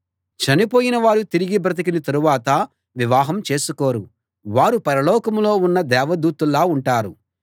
చనిపోయిన వారు తిరిగి బ్రతికిన తరువాత వివాహం చేసుకోరు వారు పరలోకంలో ఉన్న దేవదూతల్లా ఉంటారు